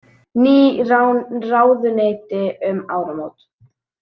Ný ráðuneyti um áramót